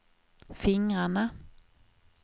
fingrarna